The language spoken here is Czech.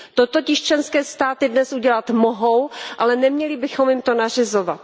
To totiž členské státy dnes udělat mohou, ale neměli bychom jim to nařizovat.